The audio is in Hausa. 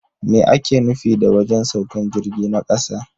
Me ake nufi da wajen saukan jirgi na kasa?